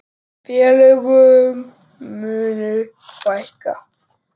Félögum muni fækka.